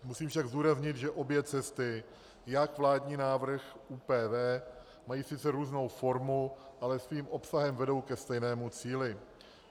Musím však zdůraznit, že obě cesty, jak vládní návrh, ÚPV, mají sice různou formu, ale svým obsahem vedou ke stejnému cíli.